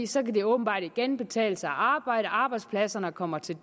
så kan det åbenbart igen betale sig at arbejde arbejdspladserne kommer til